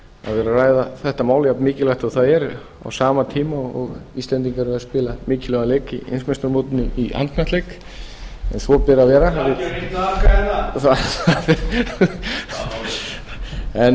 vera að ræða þetta mál jafnmikilvægt og það er á sama tíma og íslendingar eru að spila mikilvægan leik í heimsmeistaramótinu í handknattleik en svo ber að